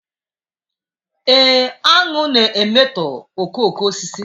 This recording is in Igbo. Ee, aṅụ na-emetọ okooko osisi